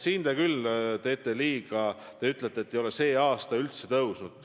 Siin te küll teete liiga, kui ütlete, et see ei ole tänavu üldse tõusnud.